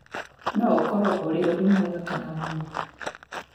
"No ũkorũo ũrĩ ũndũ mwega kana mũũru. "